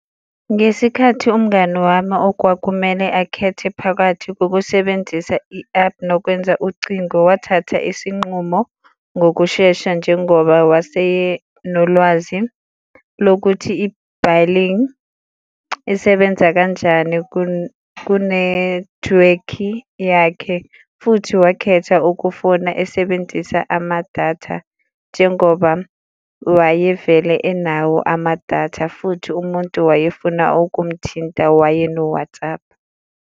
Ngesikhathi umngani wami okwakumele akhethe phakathi kokusebenzisa i-app nokwenza ucingo, wathatha isinqumo ngokushesha njengoba wasenolwazi lokuthi isebenza kanjani kunethiwekhi yakhe futhi wakhetha ukufona esebenzisa amadatha njengoba wayevele enawo amadatha futhi umuntu wayefuna ukumthinta waye no-WhatsApp.